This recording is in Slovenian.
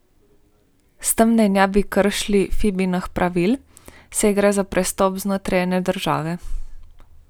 S tem naj ne bi kršili Fibinih pravil, saj gre za prestop znotraj ene države.